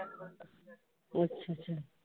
ਅੱਛਾ ਅੱਛਾ।